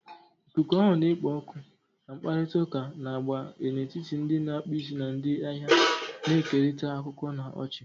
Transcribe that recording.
Ikuku ahụ na-ekpo ọkụ, na mkparịta ụka na-agba n'etiti ndị na-akpụ isi na ndị ahịa, na-ekerịta akụkọ na ọchị.